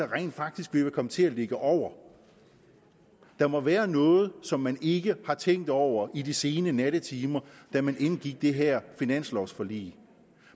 rent faktisk vil komme til at ligge over der må være noget som man ikke har tænkt over i de sene nattetimer da man indgik det her finanslovforlig